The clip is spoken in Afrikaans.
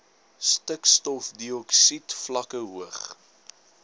stikstofdioksied vlakke hoog